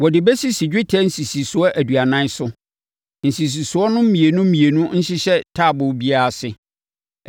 Wɔde bɛsisi dwetɛ nsisisoɔ aduanan so; nsisisoɔ no mmienu mmienu nhyehyɛ taaboo biara ase.